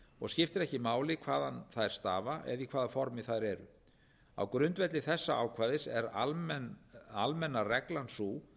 og skiptir ekki máli hvaðan þær stafa eða í hvaða formi þær eru á grundvelli þessa ákvæðis er almenna reglan sú